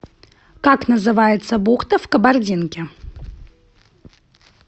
как называется бухта в кабардинке